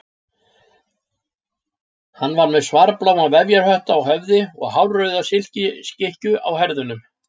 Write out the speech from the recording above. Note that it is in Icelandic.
Hann var með svarbláan vefjarhött á höfði og hárauða silkiskikkju á herðunum.